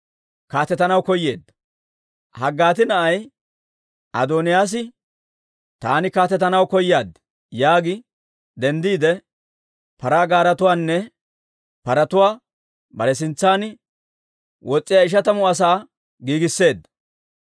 Haggiitti na'ay Adooniyaas, «Taani kaatetanaw koyaad» yaagi denddiide paraa gaaretuwaanne paratuwaa bare sintsan wos's'iyaa ishatamu asaana giigisseedda.